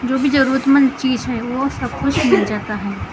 भी ज़रूरतमंद चीज़ है वो सब कुछ मिल जाता है ।